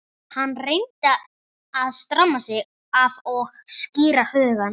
Hann reyndi að stramma sig af og skýra hugann.